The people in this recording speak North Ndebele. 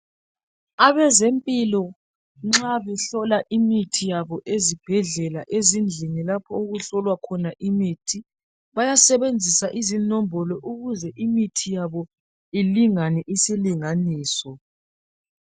Abezempilo nxa behlola imithi yabo ezibhedlela ezindlini lapho okuhlolwa khona imithi bayasebenzisa izinombolo ukuze imithi yabo ilingane isilinganiso